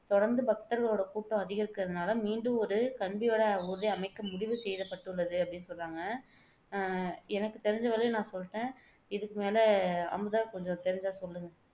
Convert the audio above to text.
தொடர்ந்து பக்தர்களோட கூட்டம் அதிகரிக்குறதுனால மீண்டும் ஒரு கன்பிவட ஊர்தி அமைக்க முடிவு செய்யப்பட்டுள்ளது அப்படின்னு சொல்றாங்க அஹ் எனக்கு தெரிஞ்ச வரையும் நான் சொல்லிட்டேன் இதுக்கு மேல அமுதா கொஞ்சம் தெரிஞ்சா சொல்லுங்க